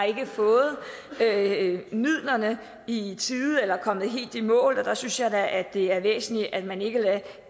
ikke har fået midlerne i tide eller ikke er kommet helt i mål og der synes jeg da det er væsentligt at man ikke lader